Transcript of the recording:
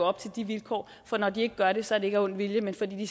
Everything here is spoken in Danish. op til de vilkår for når de ikke gør det så er det ikke af ond vilje men fordi de